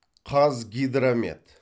қазгидромет